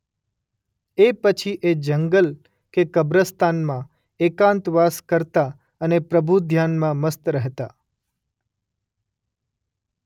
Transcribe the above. એ પછી એ જંગલ કે કબ્રસ્તાનમાં એકાંતવાસ કરતા અને પ્રભુધ્યાનમાં મસ્ત રહેતા.